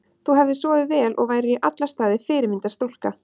Þú hefðir sofið vel og værir í alla staði fyrirmyndar stúlka.